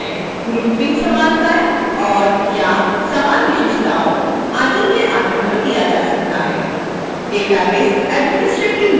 grouping समानताएं और/या समान विशेषताओं आदि के आधार पर किया जा सकता है